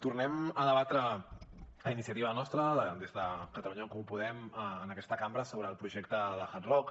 tornem a debatre a iniciativa nostra des de catalunya en comú podem en aquesta cambra sobre el projecte de hard rock